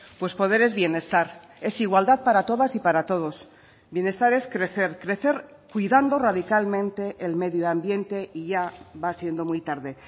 pues poder es bienestar es igualdad para todas y para todos bienestar es crecer crecer cuidando radicalmente el medio ambiente y ya va siendo muy tarde